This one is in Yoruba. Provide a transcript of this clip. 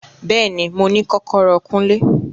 Bẹẹni, Mo ni kọkọrọ Kunle